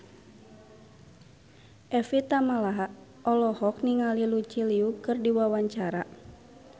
Evie Tamala olohok ningali Lucy Liu keur diwawancara